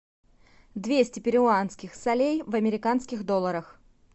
двести перуанских солей в американских долларах